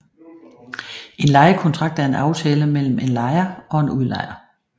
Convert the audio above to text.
En lejekontrakt er en aftale mellem en lejer og en udlejer